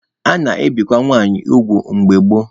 A na-ebikwa nwanyị ugwu mgbe gboo.